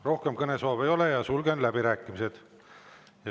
Rohkem kõnesoove ei ole ja sulgen läbirääkimised.